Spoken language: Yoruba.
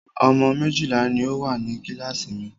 Ọmọ méjìlá ní o wà ní kíláàsì mi.